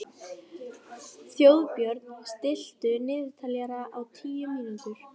Þjóðbjörn, stilltu niðurteljara á tíu mínútur.